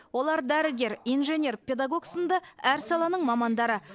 олар дәрігер инженер педагог сынды әр саланың мамандары